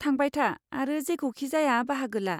थांबाय था आरो जेखौखि जाया बाहागो ला।